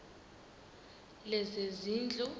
lezezindlu